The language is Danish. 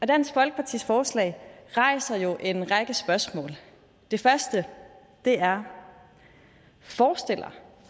dansk folkepartis forslag rejser jo en række spørgsmål det første er forestiller